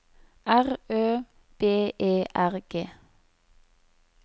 R Ø B E R G